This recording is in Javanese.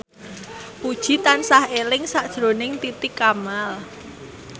Puji tansah eling sakjroning Titi Kamal